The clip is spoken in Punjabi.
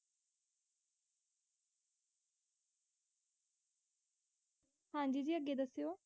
ਹਾਂਜੀ, ਜੀ ਅੱਗੇ ਦੱਸਿਓ,